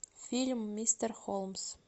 фильм мистер холмс